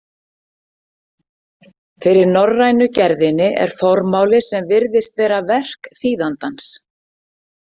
Fyrir norrænu gerðinni er formáli sem virðist vera verk þýðandans.